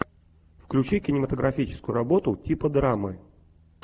включи кинематографическую работу типа драмы